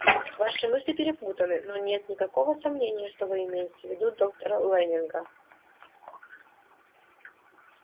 ваши мысли перепутаны но нет никакого сомнения что вы имеете в виду доктора лэннинга